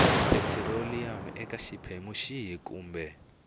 petiroliyamu eka xiphemu xihi kumbe